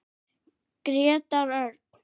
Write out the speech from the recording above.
Grétar Örn.